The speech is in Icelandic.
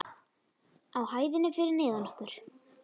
Á hæðinni fyrir neðan okkur.